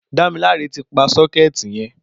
Damilare ti pà sọkẹti yẹn